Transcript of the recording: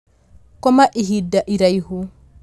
Koma ihinda iraihu